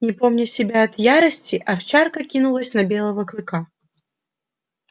не помня себя от ярости овчарка кинулась на белого клыка